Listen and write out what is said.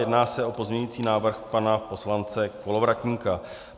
Jedná se o pozměňující návrh pana poslance Kolovratníka.